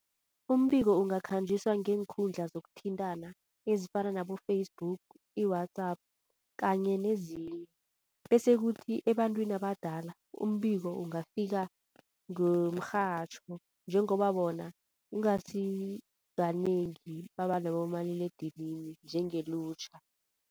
Umbiko ungakhanjiswa ngeenkundla zokuthintana ezifana nabo-Facebook, i-WhatsApp kanye nezinye. Bese kuthi ebantwini abadala umbiko Ungafika ngomrhatjho njengoba bona kungasi kanengi baba nabomaliledinini njengelutjha.